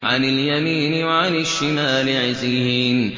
عَنِ الْيَمِينِ وَعَنِ الشِّمَالِ عِزِينَ